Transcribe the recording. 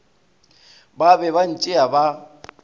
ba be ba ntšea ba